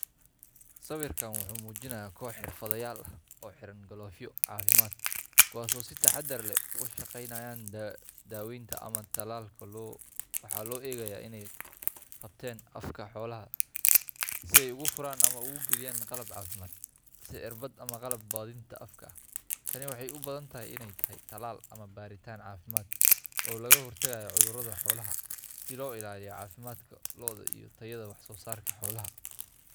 Sawirkan wuxuu muujinayaa koox xirfadlayaal ah oo xiran galoofyo caafimaad, kuwaas oo si taxaddar leh uga shaqeynaya daaweynta ama tallaalka lo’. Waxaa loo eegayaa inay qabteen afka xoolaha si ay ugu furaan ama ugu geliyaan qalab caafimaad, sida irbad ama qalab baadhitaan afka ah. Tani waxay u badan tahay inay tahay tallaal ama baaritaan caafimaad oo looga hortagayo cudurrada xoolaha, si loo ilaaliyo caafimaadka lo’da iyo tayada wax soo saarka xoolaha.